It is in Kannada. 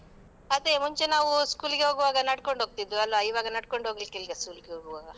ಅದೇ ಮುಂಚೆ ನಾವು school ಗೆ ಹೋಗುವಾಗ ನಡ್ಕೊಂಡು ಹೋಗ್ತಿದ್ವಲ್ಲಾ ಇವಾಗ ನಡ್ಕೊಂಡು ಹೋಗ್ಲಿಕ್ಕೆ ಇಲ್ಲ school ಗೆ ಹೋಗುವಾಗ.